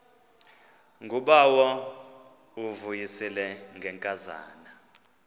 ngubawo uvuyisile ngenkazana